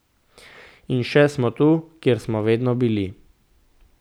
In še smo tu, kjer smo vedno bili.